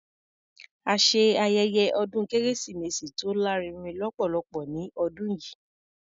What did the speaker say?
A ṣe ayẹyẹ ọdún kérésìmesì tó lárinrin lọ́pọ̀lọpọ̀ ní ọdún yìí.